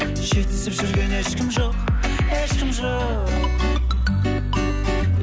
жетісіп жүрген ешкім ешкім жоқ